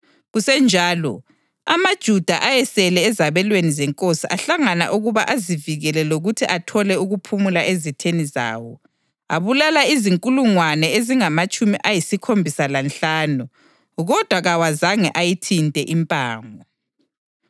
Kusenjalo, amaJuda ayesele ezabelweni zenkosi ahlangana ukuba azivikele lokuthi athole ukuphumula ezitheni zawo. Abulala izinkulungwane ezingamatshumi ayisikhombisa lanhlanu kodwa kawazange ayithinte impango.